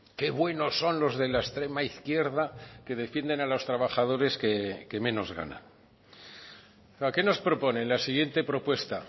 qué buenos son los de la extrema izquierda que defienden a los trabajadores que menos ganan qué nos propone en la siguiente propuesta